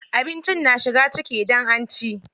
Abinci na shiga ciki idan an ci.